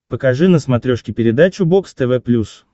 покажи на смотрешке передачу бокс тв плюс